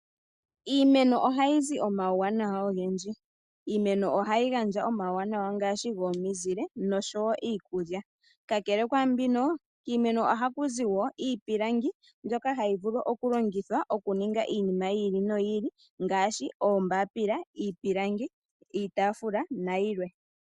Iimeno ohayi zi omauwanawa ogendji. Yo ohayi gandja omauwanawa ngaashi gomizile niikulya. Kakele kwaambino, kiimeno ohaku zi wo iipilangi mbyoka hayi vulu okulongithwa okuninga iinima yi ili noyi ili ngaashi oombapila, iipilangi yokutunga, iitaafula nayilwe.